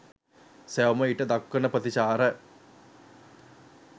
සැවොම ඊට දක්වන ප්‍රතිචාර